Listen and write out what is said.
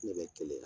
Ne bɛ keleya yan